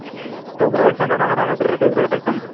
তই বেলেগ চন্দনৰ কথা কৈছ এইটো বেলেগ চন্দন